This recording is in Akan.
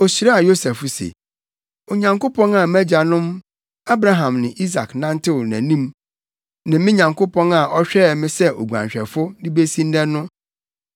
Ohyiraa Yosef se, “Onyankopɔn a mʼagyanom Abraham ne Isak nantew nʼanim, ne me Nyankopɔn a ɔhwɛɛ me sɛ oguanhwɛfo de besi nnɛ no,